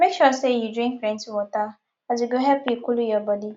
mek sure sey yu drink plenti water as e go help you coolu yur bodi